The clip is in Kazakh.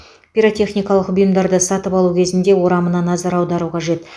пиротехникалық бұйымдарды сатып алу кезінде орамына назар аудару қажет